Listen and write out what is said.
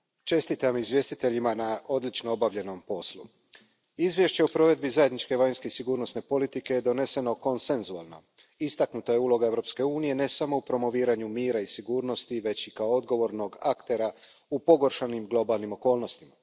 Poštovana predsjedavajuća, čestitam izvjestiteljima na odlično obavljenom poslu. Izvješće o provedbi zajedničke vanjske i sigurnosne politike je doneseno konsenzualno. Istaknuta je uloga Europske unije ne samo u promoviranju mira i sigurnosti, već i kao odgovornog aktera u pogoršanim globalnim okolnostima.